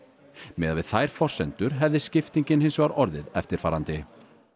miðað við þær forsendur hefði skiptingin hins vegar orðið eftirfarandi